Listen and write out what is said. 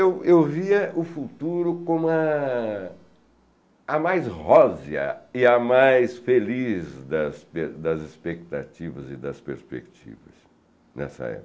Eu eu via o futuro como a a mais rosea e a mais feliz das das expectativas e das perspectivas nessa época.